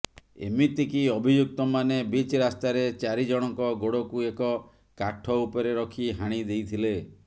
ଏମିତିକି ଅଭିଯୁକ୍ତମାନେ ବିଚ୍ ରାସ୍ତାରେ ଚାରି ଜଣଙ୍କ ଗୋଡ଼କୁ ଏକ କାଠ ଉପରେ ରଖି ହାଣି ଦେଇଥିଲେ